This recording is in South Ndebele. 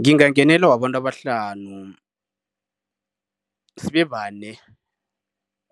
Ngingangenela wabantu abahlanu. Sibe bane,